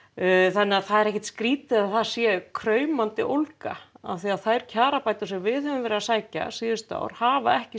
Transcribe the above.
þannig að það er ekkert skrítið að það sé kraumandi ólga af því að þær kjarabætur sem við höfum verið að sækja síðustu ára hafa ekki